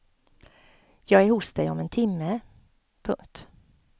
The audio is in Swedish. Jag är hos dig om en timme. punkt